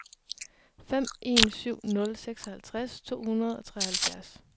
fem en syv nul seksoghalvtreds to hundrede og treoghalvfjerds